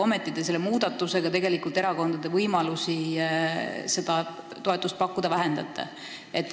Ometi selle muudatusega te tegelikult vähendate erakondade võimalusi seda toetust pakkuda.